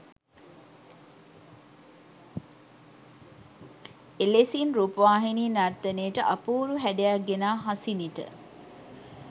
එලෙසින් රූපවාහිනි නර්තනයට අපූරු හැඩයක් ගෙනා හසිනිට